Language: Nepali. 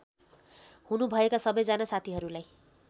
हुनुभएका सबैजना साथीहरूलाई